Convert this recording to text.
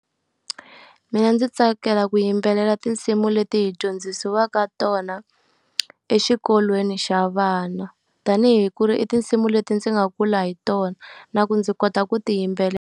Mina ndzi tsakela ku yimbelela tinsimu leti hi dyondzisiwaka tona exikolweni xa vana. Tanihi ku ri i tinsimu leti ndzi nga kula hi tona, na ku ndzi kota ku ti yimbelela.